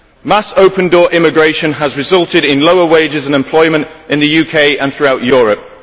Mass open door immigration has resulted in lower wage and employment levels in the UK and throughout Europe.